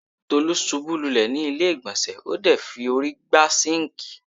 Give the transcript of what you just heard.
Tolú ṣubú lulẹ̀ ni ilé-ìgbọ̀nsẹ̀ ,o de fi órí gbá sinkii.